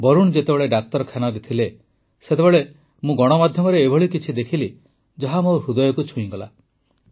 ବରୁଣ ଯେତେବେଳେ ଡାକ୍ତରଖାନାରେ ଥିଲେ ସେତେବେଳେ ମୁଁ ଗଣମାଧ୍ୟମରେ ଏଭଳି କିଛି ଦେଖିଲି ଯାହା ମୋ ହୃଦୟକୁ ଛୁଇଁଗଲା